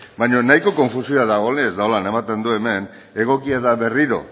baina nahiko konfusioa dagoela edo honela ematen du hemen egokia da berriro